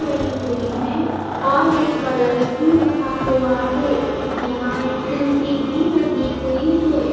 पड़ी हुई है और एक कलश भी रखा हुआ है यहां एक कुर्सी भी लगी हुई है।